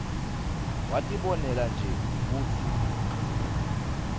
watibonela nje kutsi